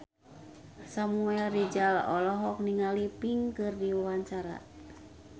Samuel Rizal olohok ningali Pink keur diwawancara